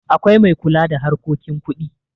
akwai mai kula da harkokin kuɗi